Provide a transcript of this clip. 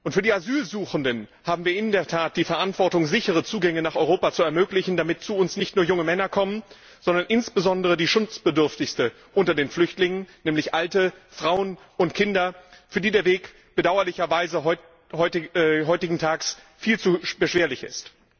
Für die Asylsuchenden haben wir in der Tat die Verantwortung, sichere Zugänge nach Europa zu ermöglichen, damit zu uns nicht nur junge Männer kommen, sondern insbesondere die Schutzbedürftigsten unter den Flüchtlingen, nämlich Alte, Frauen und Kinder, für die der Weg bedauerlicherweise heutigentags viel zu beschwerlich ist.